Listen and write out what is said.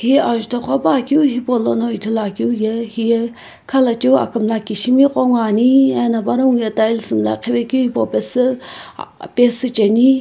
hi ajutho qhopuakeu hipaulono ithuluakeu ye hiye khalachiu akumla kishimi qo ngoani ena panongu ye tiles mlaqhivekeu hipau pesu ah ah pesu cheni.